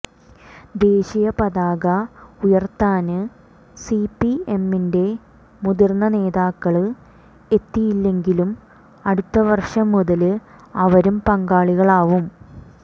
ദേശീയപതാക ഉയര്ത്താന് സിപിഎമ്മിന്റെ മുതിര്ന്ന നേതാക്കള് എത്തിയില്ലെങ്കിലും അടുത്ത വര്ഷം മുതല് അവരും പങ്കാളികളാവും